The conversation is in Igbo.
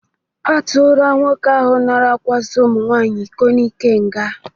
A tụla nwoke ahụ nara akwasa ụmụnwaanyị iko n'ike nga.